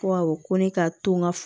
Ko awɔ ko ne ka to n ka